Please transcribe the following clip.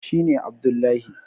shi ne Abdullahi